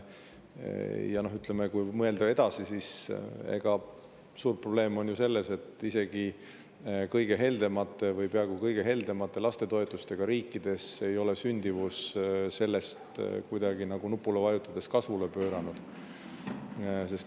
Ja kui mõelda edasi, siis suur probleem on ju selles, et isegi kõige heldemate või peaaegu kõige heldemate lastetoetustega riikides ei ole sündimus nendest kuidagi nagu nupule vajutades kasvule pööranud.